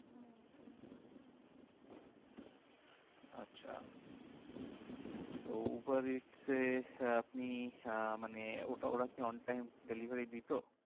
আচ্ছা তো Uber eats এ আপনি আহ মানে ওটা ওরা কি on time delivery দিতো?